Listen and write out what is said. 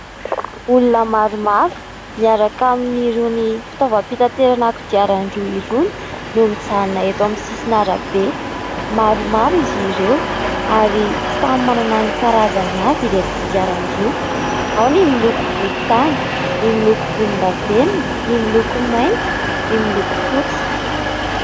Olona maromaro miaraka amin'irony fitaovam-pitaterana kodiaran-droa irony no mijanona eto amin'ny sisin'arabe. Maromaro izy ireo ary samy manana ny karazany avy ireto kodiaran-droa : ao ny miloko volontany, ny miloko volondavenona, ny miloko mainty, ny miloko fotsy.